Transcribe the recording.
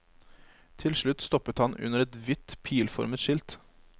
Til slutt stoppet han under et hvitt pilformet skilt.